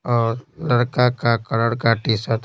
और लड़का का कलर का टी-शर्ट --